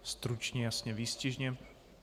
Stručně, jasně, výstižně.